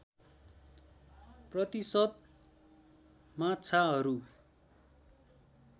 प्रतिशत माछाहरू